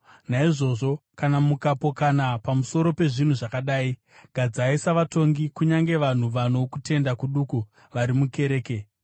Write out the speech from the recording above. Naizvozvo, kana mukapokana pamusoro pezvinhu zvakadai, gadzai savatongi kunyange vanhu vano kutenda kuduku vari mukereke.